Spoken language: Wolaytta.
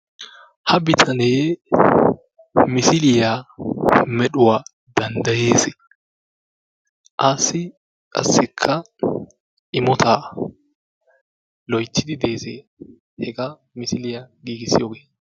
Ha bitane misiliya medhuwa danddayees. Assi qassikka immota loyttidi dees hegaa misiliya giggissiyogee.